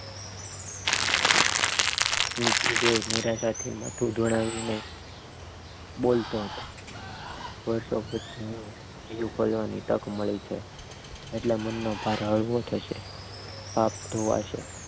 નીચું જોઈને નિરાશ થી માથું દોડાવીને બોલતો હતો વર્ષો પછી ની તક મળી છે એટલે માનભર હળવો થશે પાપ ધોવાશે